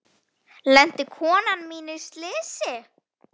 Lenti konan mín í slysi?